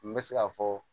N bɛ se k'a fɔ